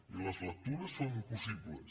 i les lectures són possibles